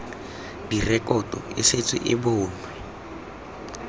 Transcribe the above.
direkoto e setse e bonwe